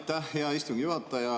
Aitäh, hea istungi juhataja!